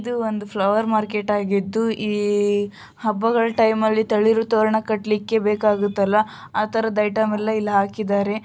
ಇದು ಒಂದು flower market ಅಗಿದು ಈ ಹಬ್ಬಗಳ ಟೈಮ್ ಅಲ್ಲಿ ತಳಿ ತೊರಣ ಕಟ್ಲಿಕೆ ಬೇಕಾಗುತ್ತಲ್ಲ ಅತರದ ಐಟೀಮ್ ಎಲ್ಲ ಇಲ್ಲಿ ಹಾಕಿದ್ದಾರೆ .